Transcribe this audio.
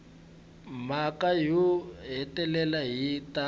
mhaka yo hetelela yi ta